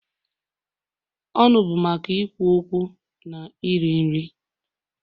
Ọnụ bụ maka ikwu okwu na iri nri.